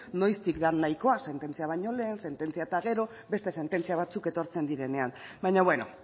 noiztik den nahikoa sententzia baino lehen sententzia eta gero beste sententzia batzuk etortzen direnean baina beno